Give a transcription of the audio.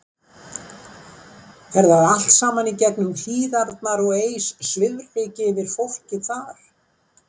Fer það allt saman í gegnum Hlíðarnar og eys svifryki yfir fólkið þar?